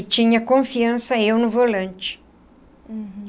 E tinha confiança eu no volante.